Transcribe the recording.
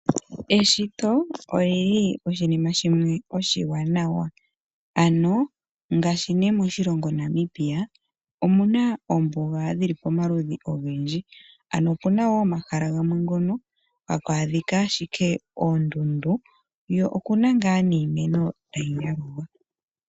Eshito olili oshinima shimwe oshiwanawa ano ngashi ne moshilongo Namibia omu na oombuga dhili pomaludhi ogendji ano opu na wo omahala gamwe ngono hapu adhika ashike oondundu ko okuna nga niimeno tayi yalulwa.